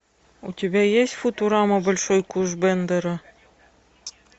у тебя есть футурама большой куш бендера